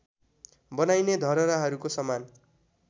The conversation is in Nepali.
बनाइने धरहराहरूको समान